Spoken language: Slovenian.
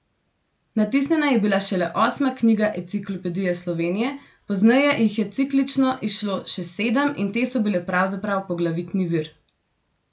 Natisnjena je bila šele osma knjiga Enciklopedije Slovenije, pozneje jih je ciklično izšlo še sedem in te so bile pravzaprav poglavitni vir.